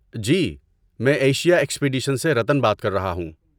جی، میں Asia expedition سے رتن بات کر رہا ہوں۔